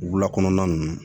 Wulakɔnɔna ninnu